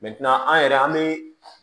an yɛrɛ an bɛ